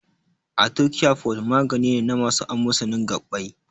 Arthocare forte magani ne na masu amosanin gaɓɓai.